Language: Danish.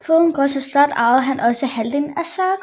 Foruden Gråsten Slot arvede han også halvdelen af Søgård